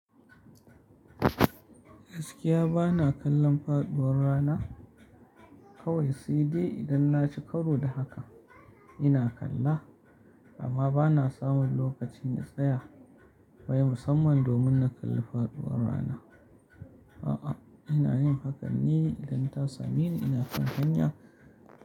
Gaskiya bana kallon faɗuwar rana kawai sede idan na ci karo da haka ina kalla amma bana samun lokacin in tsaya, wai musamman domin na kalli faɗuwar rana. A'a, ina yin hakanne idan ta same ni ina kan hanya.